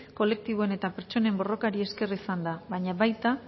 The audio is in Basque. kolektiboen eta pertsonen borrokari esker izan da baina baita